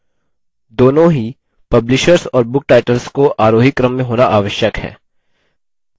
दोनों ही publishers और book titles को आरोही क्रम में होना आवश्यक है